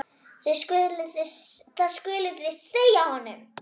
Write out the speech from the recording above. Það skuluð þið segja honum!